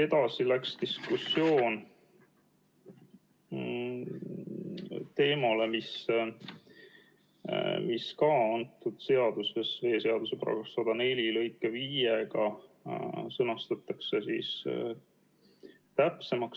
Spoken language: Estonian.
Edasi läks diskussioon teemale, mis sõnastatakse ka antud seaduses, veeseaduse § 104 lõikega 5 täpsemaks.